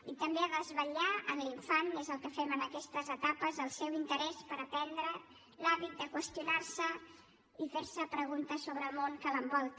i també ha de desvetllar en l’infant és el que fem en aquestes etapes el seu interès per aprendre l’hàbit de qüestionar se i fer se preguntes sobre el món que l’envolta